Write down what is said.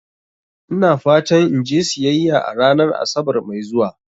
Ina fatan in je siyayya a ranar Asabar mai zuwa.